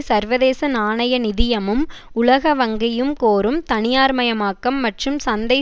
சர்வதேச நாணய நிதியமும் உலக வங்கியும் கோரும் தனியார்மயமாக்கம் மற்றும் சந்தை